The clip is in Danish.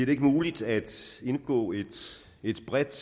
det ikke muligt at indgå et et bredt